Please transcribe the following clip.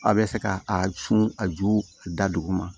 A bɛ fɛ ka a sun a ju da duguma